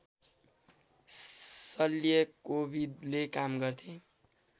शल्यकोविदले काम गर्थे